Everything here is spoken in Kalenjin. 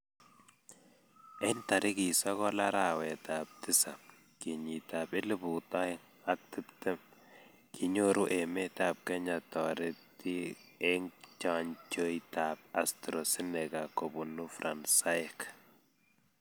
eng' tariki sokol arawetab tisap kenyitab elput oeng' ak tiptem kinyoru emetab Kenya torite eng' chnjoitab Astra Zeneca kobunu Fransaek.